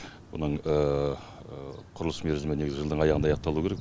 оның құрылыс мерзімі негізі жылдың аяғында аяқталуы керек